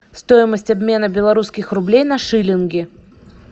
стоимость обмена белорусских рублей на шиллинги